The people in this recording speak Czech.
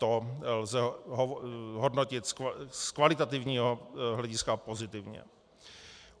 To lze hodnotit z kvalitativního hlediska pozitivně.